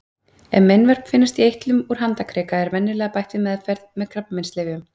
Ef meinvörp finnast í eitlum úr handarkrika er venjulega bætt við meðferð með krabbameinslyfjum.